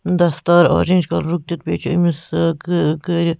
دستاراورینج .کلرُک دِتھ بیٚیہِ چھ أمِس گ گ گٔرِتھ